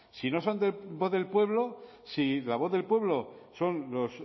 si no son voz del pueblo si la voz del pueblo son los